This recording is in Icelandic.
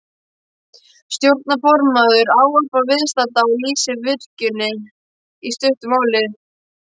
Stjórnarformaður ávarpar viðstadda og lýsir virkjuninni í stuttu máli.